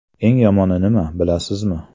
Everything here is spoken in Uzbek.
Eng yomoni nima, bilasizmi?